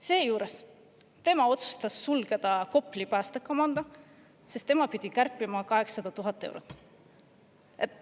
Seejuures otsustas ta sulgeda Kopli päästekomando, sest ta pidi kärpima 800 000 eurot.